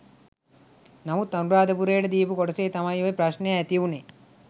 නමුත් අනුරාධපුරයට දීපු කොටසේ තමයි ඔය ප්‍රශ්නය ඇතිවුණේ.